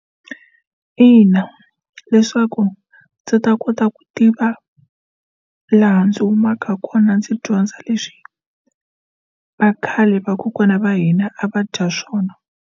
Ina, leswaku ndzi ta kota ku tiva laha ndzi humaka kona ndzi dyondza leswi vakhale vakokwana va hina a va dya swona.